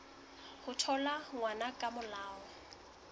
ho thola ngwana ka molao